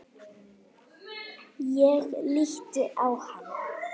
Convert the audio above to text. Ég lít á hana.